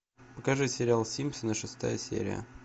покажи сериал симпсоны шестая серия